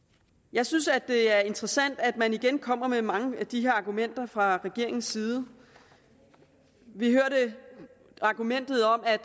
jeg synes at det er interessant at man igen kommer med mange af de her argumenter fra regeringens side vi hørte argumentet om at